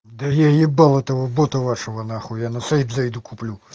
да я ебал этого бота вашего на хуй я на сайт зайду куплю